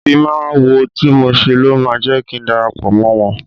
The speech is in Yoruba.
Ìfimáwo tí mo ṣe ló máa jẹ́ kin darapọ̀ mọ́ wọ́n.